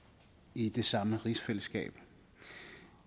i det samme rigsfællesskab